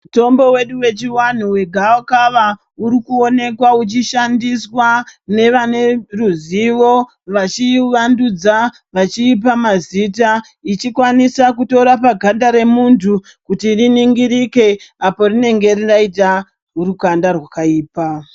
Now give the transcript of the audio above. Mutombo wedu yechivanhu wegavakava urikuwonekwa uchishandiswa nevane ruzivo vachivandudza vachiipa mazita ichikwanisa kutorapa ganda remuntu kuti riningirike apo rinenge raita rukanda rwakaipa.